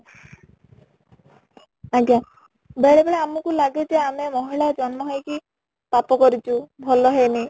ଆଜ୍ଞା , ବେଳେ ବେଳେ ଆମକୁ ଲାଗେ ଯେ ଆମେ ମହିଳା ଜନ୍ମ ହେଇକି ପାପ କରିଛୁ ଭଲ ହେଇନି